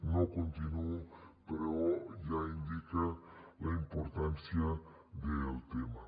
no continuo però ja indica la importància del tema